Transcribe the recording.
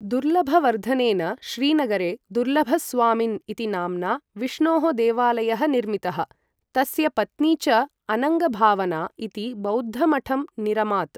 दुर्लभवर्धनेन श्रीनगरे दुर्लभस्वामिन् इति नाम्ना विष्णोः देवालयः निर्मितः, तस्य पत्नी च अनङ्गभावना इति बौद्धमठं निरमात्।